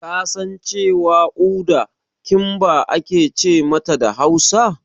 Kasan cewa Uda "Kimba" ake ce mata da Hausa?